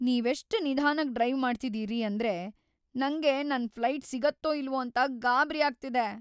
ನೀವೆಷ್ಟ್ ನಿಧಾನಕ್ ಡ್ರೈವ್‌ ಮಾಡ್ತಿದೀರಿ ಅಂದ್ರೆ ನಂಗೆ ನನ್‌ ಫ್ಲೈಟ್‌ ಸಿಗುತ್ತೋ ಇಲ್ವೋ ಅಂತ ಗಾಬ್ರಿ ಆಗ್ತಿದೆ.